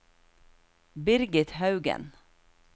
Birgit Haugen